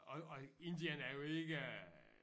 Og og Indien er jo ikke